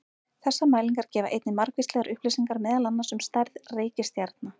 Þessar mælingar gefa einnig margvíslegar upplýsingar meðal annars um stærð reikistjarna.